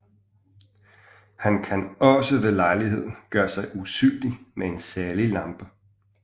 Han kan også ved lejlighed gøre sig usynlig med en særlig lampe